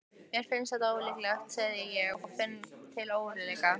Mér finnst það ólíklegt, segi ég en finn til óróleika.